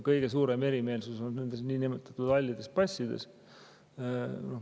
Kõige suurem erimeelsus on nende niinimetatud hallide passide teemal.